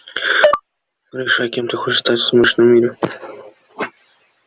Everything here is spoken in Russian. решай кем ты хочешь стать в сумеречном мире